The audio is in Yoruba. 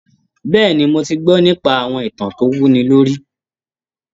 Bẹ́ẹ̀ni, mo ti gbọ́ nípa àwọn ìtàn tó wúni lórí.